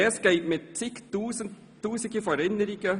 Res geht mit zig tausenden von Erinnerungen.